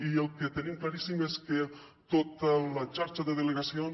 i el que tenim claríssim és que tota la xarxa de delegacions